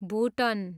भुटन